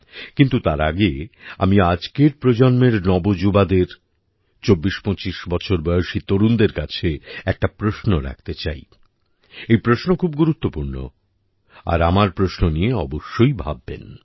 কিন্তু তার আগে আমি আজকের প্রজন্মের নবযুবাদের চব্বিশপঁচিশ বছর বয়সী তরুণদের কাছে একটা প্রশ্ন রাখতে চাই এই প্রশ্ন খুব গুরুত্বপূর্ণ আর আমার প্রশ্ন নিয়ে অবশ্যই ভাববেন